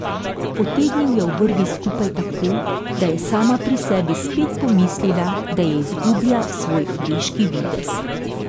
Potegnil je obrvi skupaj tako, da je sama pri sebi spet pomislila, da izgublja svoj deški videz.